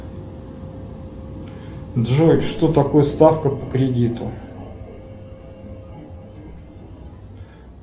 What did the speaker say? джой что такое ставка по кредиту